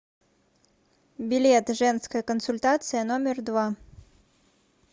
билет женская консультация номер два